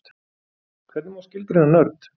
Hvernig má skilgreina nörd?